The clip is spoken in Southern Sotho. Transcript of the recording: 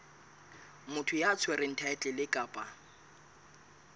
motho ya tshwereng thaetlele kapa